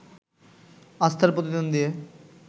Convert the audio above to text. আস্থার প্রতিদান দিয়ে